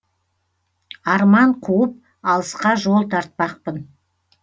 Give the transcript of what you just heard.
арман қуып алысқа жол тартпақпын